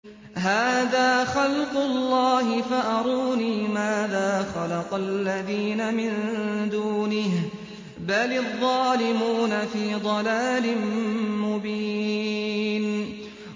هَٰذَا خَلْقُ اللَّهِ فَأَرُونِي مَاذَا خَلَقَ الَّذِينَ مِن دُونِهِ ۚ بَلِ الظَّالِمُونَ فِي ضَلَالٍ مُّبِينٍ